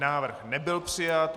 Návrh nebyl přijat.